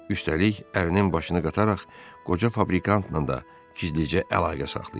Üstəlik, ərinin başını qataraq qoca fabrikantla da gizlicə əlaqə saxlayır.